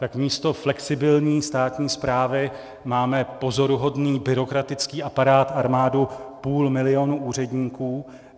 Tak místo flexibilní státní správy máme pozoruhodný byrokratický aparát, armádu půl milionu úředníků.